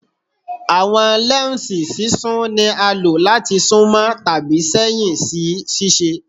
Awọn lẹnsi sisún ni a lo lati sunmọ tabi sẹhin si ṣiṣe